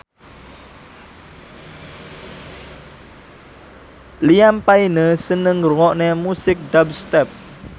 Liam Payne seneng ngrungokne musik dubstep